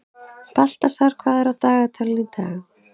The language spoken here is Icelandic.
Baltasar, hvað er á dagatalinu í dag?